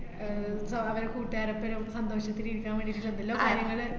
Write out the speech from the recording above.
ആഹ് അവരെ കുട്ടുകാരോപ്പരം സന്തോഷത്തിലിരിക്കാൻ വേണ്ടീട് എന്തെല്ലോ കാര്യങ്ങള്